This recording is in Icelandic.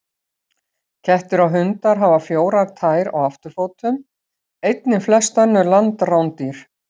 Kettir og hundar hafa fjórar tær á afturfótum, einnig flest önnur landrándýr.